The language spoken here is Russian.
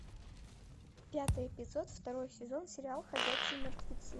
пятый эпизод второй сезон сериал ходячие мертвецы